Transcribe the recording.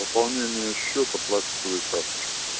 пополнение счета пластиковой карточкой